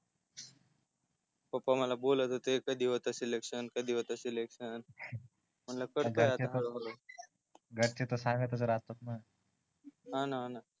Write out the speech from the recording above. पापा मला बोलत होते कधी होते सेलेक्सन कधी होत सेलेक्सन म्हणलं करतो आता हळू हळू घरचे तर सांगत च राहतात न न न